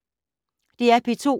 DR P2